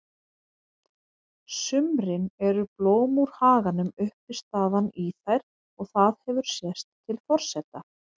sumrin eru blóm úr haganum uppistaðan í þær og það hefur sést til forseta